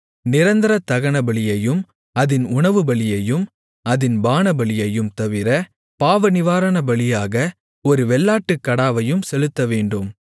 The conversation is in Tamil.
நிரந்தர தகனபலியையும் அதின் உணவுபலியையும் அதின் பானபலியையும் தவிர பாவநிவாரணபலியாக ஒரு வெள்ளாட்டுக்கடாவையும் செலுத்தவேண்டும்